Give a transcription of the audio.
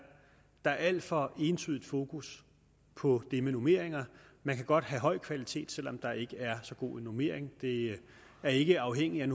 der er et alt for entydigt fokus på det med normeringer man kan godt have høj kvalitet selv om der ikke er så god en normering det er ikke afhængigt